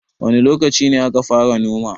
wane lokaci aka fara noma